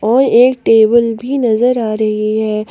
और एक टेबल भी नजर आ रही है।